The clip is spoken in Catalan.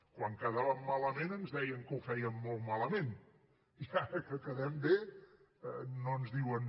quan quedàvem malament ens deien que ho fèiem molt malament i ara que quedem bé no ens diuen